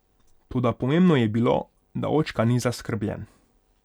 Toda pomembno je bilo, da očka ni zaskrbljen.